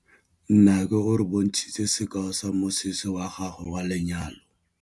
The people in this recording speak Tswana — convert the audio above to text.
Nnake o re bontshitse sekaô sa mosese wa gagwe wa lenyalo.